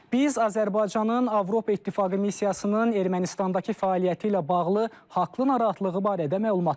Biz Azərbaycanın Avropa İttifaqı missiyasının Ermənistandakı fəaliyyəti ilə bağlı haqlı narahatlığı barədə məlumatlıyıq.